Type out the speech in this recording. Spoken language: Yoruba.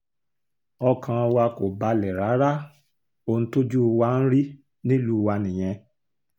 ọkàn wa kò balẹ̀ rárá ohun tójú wa ń rí nílùú wa nìyẹn